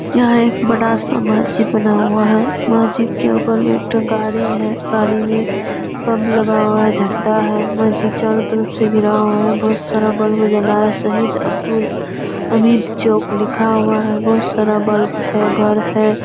यहाँ एक बड़ा सा मैजिक लगा हुआ है मैजिक के ऊपर में एकठो गाड़ी है गाड़ी में बल्ब लगा हुआ है झंडा है मैजिक चारों तरफ से घिरा हुआ है बहुत सारा बाल जला हुआ है शहीद अब्दुल हामिद चौक लिखा हुआ है बहुत सारा बल्ब हैं घर है।